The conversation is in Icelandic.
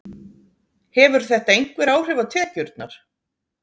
Hefur þetta einhver áhrif á tekjurnar?